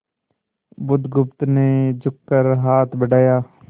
बुधगुप्त ने झुककर हाथ बढ़ाया